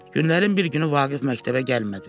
Günlərin bir günü Vaqif məktəbə gəlmədi.